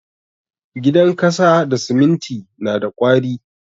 Gidan kasa da siminti na da ƙwari.